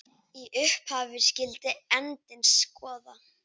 Í upphafi skyldi endinn skoða.